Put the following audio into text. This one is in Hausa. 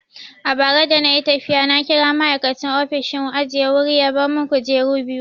A bara dana yi tafiya na kira ma'aikacin ofishin ajiye wuri ya bar mun kujeru biyu.